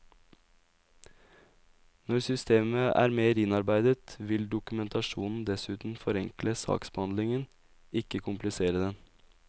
Når systemet er mer innarbeidet, vil dokumentasjonen dessuten forenkle saksbehandlingen, ikke komplisere den.